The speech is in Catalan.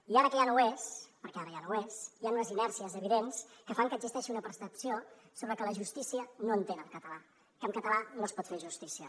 i ara que ja no ho és perquè ara ja no ho és hi han unes inèrcies evidents que fan que existeixi una percepció sobre que la justícia no entén el català que en català no es pot fer justícia